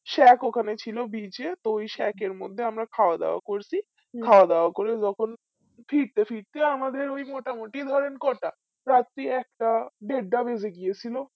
সে এক ওখানে ছিল beach এ তো ওই shack এর মধ্যে আমরা খওয়া দাওয়া করছি খাওয়া দাওয়া করে যখন ফিরতে ফিরতে আমাদের ওই মোটামুটি ধরেন কোটা রাত্রি একটা দেড়টা বেজেগেছিল